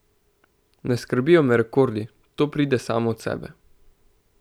Ne skrbijo me rekordi, to pride samo od sebe.